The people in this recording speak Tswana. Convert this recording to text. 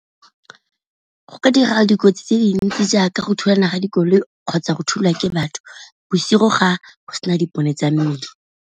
Go ka dira dikotsi tse dintsi jaaka go thulana ga dikoloi kgotsa go thulwa ke batho, bosigo ga go sena dipone tsa mmila.